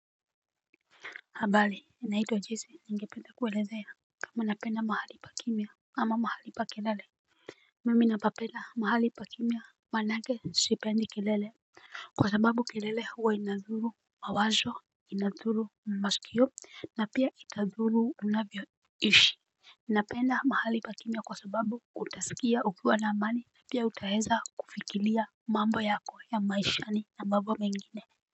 Habari, ninaitwa jisi, ningependa kuelezea. Kama napenda mahali pa kimya ama mahali pa kelele. Mimi napapenda mahali pa kimya, manake sipendi kelele. Kwa sababu kelele huwa inadhuru mawazo, inadhuru maskio, na pia itadhuru unavyoishi. Napenda mahali pa kimya kwa sababu kutaskia ukiwa na amani, pia utaeza kufikilia mambo yako ya maishani na mambo mengine.